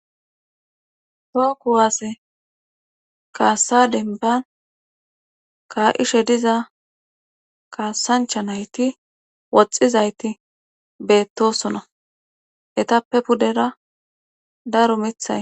Too kuwaasse kaassa denban ka7ishe diza kaassancha nayti woxxizayti beettosona etappe pudera daro mithay